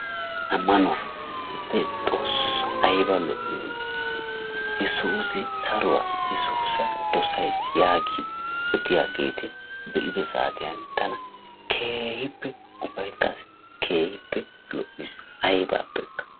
Ammanuwa. Xoossoo aybba lo'iyona! Yeesuusi saruwa; yeesuusi dosaysi, yagidi odiyageti beido saatiyan tana keehippe ufayttasi keehippe lo'isi aybapekka.